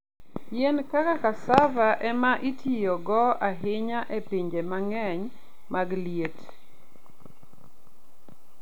Yien kaka cassava e ma itiyogo ahinya e pinje mang'eny mag liet.